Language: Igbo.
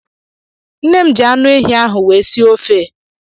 Nne m ji anụ ehi ahụ wee sie ofe.